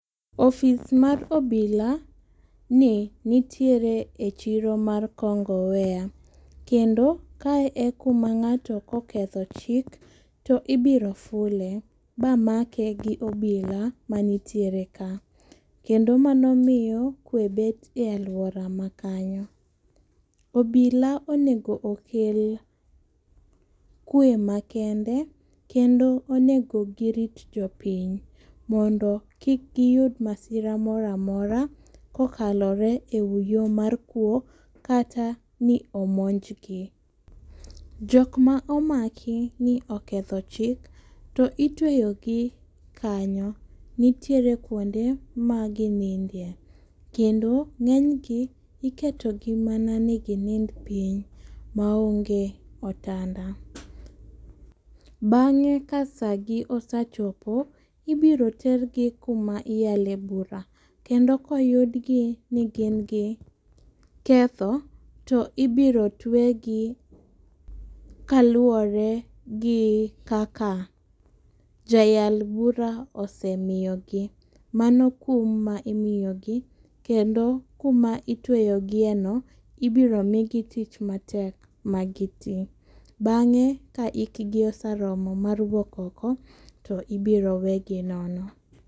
Ofis mar obila ni nitiere e chiro mar kongoweya kendo kae e kuma ng'ato koketho chik to ibiro fule ma make gi obila manitiere kakendo mano miyo kwe bet e aluora makanyo. Obila onego okel kwe makende kendo onego girit jopiny mondo kik giyud masira moramora kokalore e yoo mar kuo kata ni omonjgi. Jok ma omaki ni oketho chik to itweyo gi kanyo nitiere kuonde ma ginindie kendo ng'enygi iketo gi mana ni ginind piny maonge otanda. Bang'e ka sagi osachopo ibiro tergi kuma iyale bura kendo koyudgi ni gin gi ketho to ibiro twe gi kaluwore gi kaka jayal bura osemiyo gi. Mano kum ma imiyo gi kendo kuma itweyo gie no ibiro migi tich matek ma gitimo. Bang'e ka hikgi oseromo mar wuok oko to ibiro wegi nono.